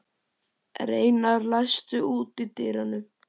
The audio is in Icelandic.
Reynar, læstu útidyrunum.